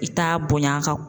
I t'a bonya ka